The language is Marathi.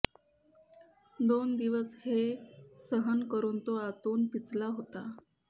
दोन दिवस हे सहन करून तो आतून पिचला होता